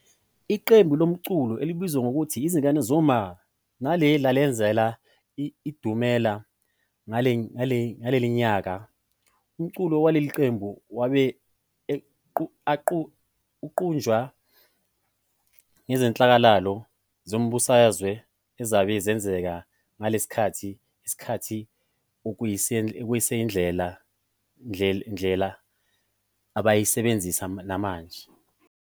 Iqembu lomculo elibizwa ngokuthi Izingane Zoma nalo lazenzela idumela ngalelinyaka, umculo waleli qembu wabe uqanjwa ngezehlakalo zezombuswazwe ezabe zenzeka nagalesi sikhathi, okusayindlela abasayisebenzisa namanje.